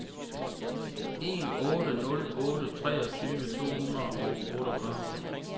en otte nul otte treogtyve to hundrede og otteogfyrre